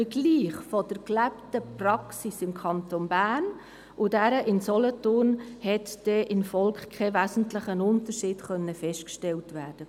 Beim Vergleich der gelebten Praxis im Kanton Bern und dieser im Kanton Solothurn konnte im Volk kein wesentlicher Unterschied festgestellt werden.